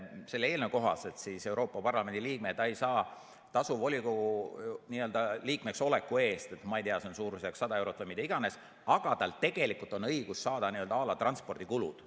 Selle eelnõu kohaselt Euroopa Parlamendi liige ei saa tasu volikogu liikmeks oleku eest, see on suurusjärgus 100 eurot või mida iganes, aga tal tegelikult on õigus saada transpordikulud.